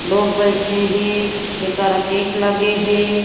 लोग बईठे हे एकर केक लगे हे।